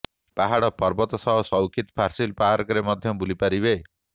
ପାହାଡ଼ ପର୍ବତ ସହ ସୁକୈତି ଫାର୍ସିଲ ପାର୍କରେ ମଧ୍ୟ ବୁଲିପାରିବେ